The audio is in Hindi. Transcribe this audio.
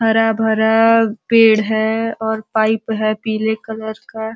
हरा-भरा पेड़ है और पाइप है पीले कलर का।